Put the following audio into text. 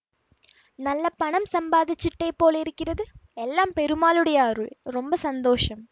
நல்ல பணம் சம்பாதிச்சுட்டே போலிருக்கிறது எல்லாம் பெருமாளுடைய அருள் ரொம்ப சந்தோஷம்